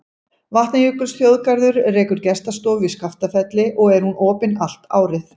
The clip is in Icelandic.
Vatnajökulsþjóðgarður rekur gestastofu í Skaftafelli og er hún opin allt árið.